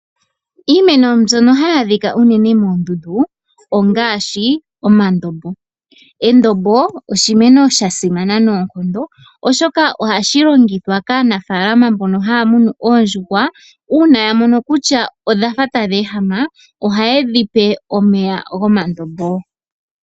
Iimeno mbyono hayi adhika unene moondundu ongaashi omandombo. Endombo oshimeno sha simana noonkondo oshoka ohashi longithwa kaanafaalama mbono haya munu oondjuhwa, uuna ya mono kutya odhafa tadhi ehama ohaye dhi pe omeya gomandombo.